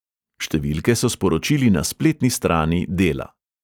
Številke so sporočili na spletni strani dela.